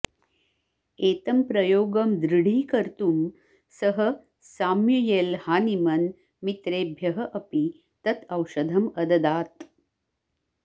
एतं प्रयोगं दृढीकर्तुं सः साम्युयेल् हानिमन् मित्रेभ्यः अपि तत् औषधम् अददात्